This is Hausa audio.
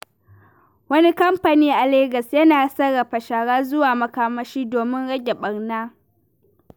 Wani kamfani a Legas yana sarrafa shara zuwa makamashi domin rage ɓarna.